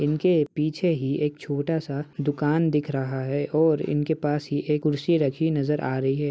इनके पीछे ही एक छोटा सा दुकान दिख रहा है और इनके पास ही एक कुर्सी रखी नजर आ रही है।